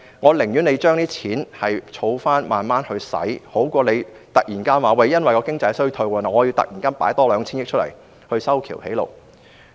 我寧願政府把這些錢儲起來慢慢使用，總比突然因為經濟衰退而突然多撥出 2,000 億元用作修橋築路好。